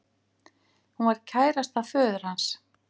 Hún var kærasta föður hans